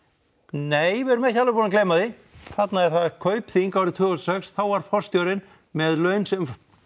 nei við erum ekki alveg búin að gleyma því þarna er það Kaupþing árið tvö þúsund og sex þá var forstjórinn með laun sem